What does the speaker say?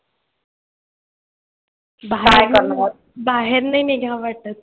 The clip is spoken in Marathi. बाहेर नाही निघावं वाटत